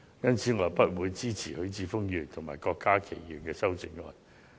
因此，我不會支持許智峯議員及郭家麒議員的修正案。